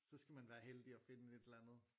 Så skal man være heldig at finde et eller andet